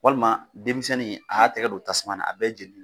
Walima denmisɛnnin a y'a tɛgɛ don tasuma na a bɛɛ jeni.